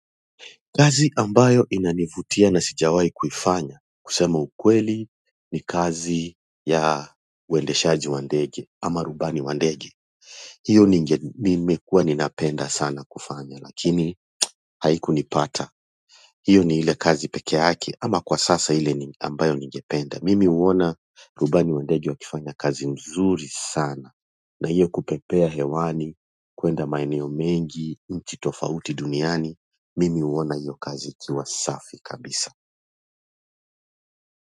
Kazi ambayo inanivutia na sijawai kufanya kusema ukweli ni kazi ya uendeshaji wa ndege ama rubani wa ndege hiyo ninge nimekuwa ninapenda sana kufanya lakini haiku nipata hiyo ni ile kazi pekee yake ama kwa sasa ile ambayo ningependa mimi huona rubani wa ndege akifanya kazi mzuri sana na hiyo kupepea hewani, kwenda maeneo mengi, nchi tofauti duniani, mimi huona hiyo kazi ikiwa safi kabisa.